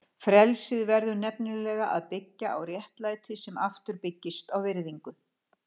Frelsið verður nefnilega að byggjast á réttlæti sem aftur byggist á virðingu.